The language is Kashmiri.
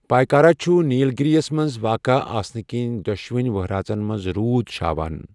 پایکارا چُھ نِیل گِرِیس منٛز واقع آسنہٕ کِنۍ ، دۄشوٕنۍ وہرٲژن منز روٗد چھاوان۔